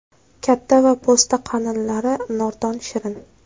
Katta va po‘sti qalinlari nordon-shirin.